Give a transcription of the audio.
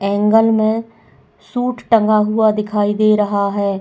Angle में suit टंगा हुआ दिखाई दे रहा है।